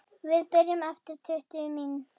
Við byrjum eftir tuttugu mín